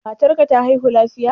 Matar ka ta haihu lafiya?